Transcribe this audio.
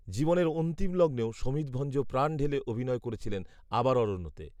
জীবনের অন্তিম লগ্নেও শমিত ভঞ্জ প্রাণ ঢেলে অভিনয় করেছিলেন আবার অরণ্যতে